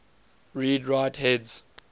read write heads